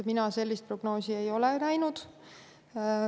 Mina sellist prognoosi ei ole näinud.